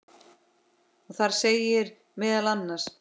og þar segir meðal annars